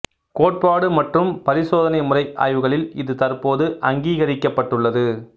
கோட்பாட்டு மற்றும் பரிசோதனை முறை ஆய்வுகளில் இது தற்போது அங்கீகரிக்கப்பட்டுள்ளது